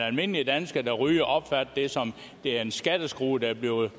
almindelige dansker der ryger opfatter det som en skatteskrue der bliver